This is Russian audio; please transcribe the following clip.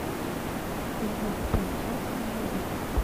любовь бен хека найди